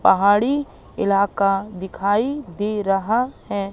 पहाड़ी इलाका दिखाई दे रहा हैं।